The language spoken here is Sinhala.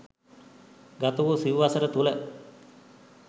ගත වූ සිව් වසර තුළ